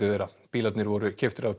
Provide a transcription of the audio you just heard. þeirra bílarnir voru keyptir af